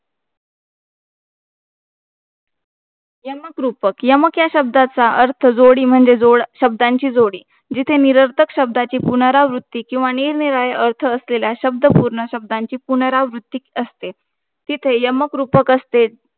यमकरूपक, यमक या शब्दाचा अर्था जोडी म्हणजे, शब्दाची जोडी, जिथे निरर्थक शब्दाची पुनरावृत्ती किंवा निरनिराळे अर्थ असलेल्या शब्दपूर्ण, शब्दाची पुनरावृत्ती असते. तिथे यमकरुपक असते.